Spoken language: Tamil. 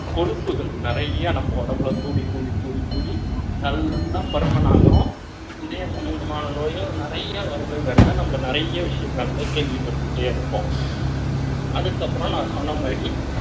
கொழுப்புகள் நிறைய நம்ம உடம்புல கூடி கூடி கூடி கூடி நல்ல பலன் ஆகும். நம்ப நிறைய விஷயங்கள் கேள்விப்பட்டேன். அதுக்கப்புறம் நான் சொன்னமாரி